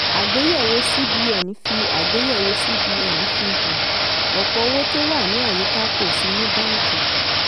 àgbéyẹ̀wò cbn fi àgbéyẹ̀wò cbn fi hàn: ọ̀pọ̀ owó tó wà ní àyíká kò sí ní báńkì.